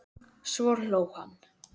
Svo hló hann.